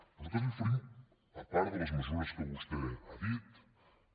nosaltres li oferim a part de les mesures que vostè ha dit